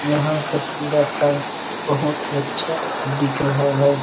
यहाँ का सुंदरता बहुत ही अच्छा दिख रहा है।